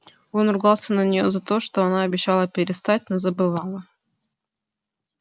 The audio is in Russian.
он ругался на неё за это она обещала перестать но забывала